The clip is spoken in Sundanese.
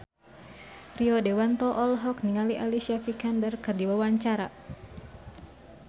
Rio Dewanto olohok ningali Alicia Vikander keur diwawancara